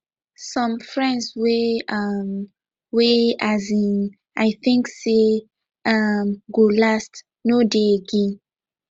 some friends wey um wey um i think sey um go last no de again